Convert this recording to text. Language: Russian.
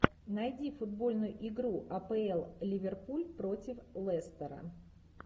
найди футбольную игру апл ливерпуль против лестера